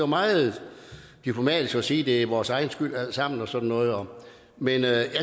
meget diplomatisk at sige at det er vores egen skyld alt sammen og sådan noget men jeg